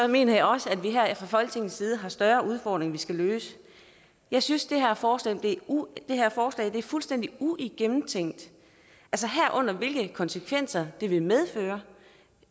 mener jeg også at vi her fra folketingets side har større udfordringer vi skal løse jeg synes det her forslag er fuldstændig ugennemtænkt herunder hvilke konsekvenser det vil medføre